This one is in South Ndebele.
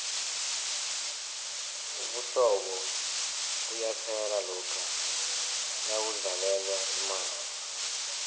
ubuhlobo buyaphela lokha nakudlalelwa imali